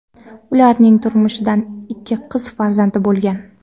Ularning turmushidan ikki qiz farzandi bo‘lgan.